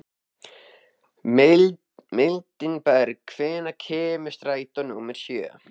Mildinberg, hvenær kemur strætó númer sjö?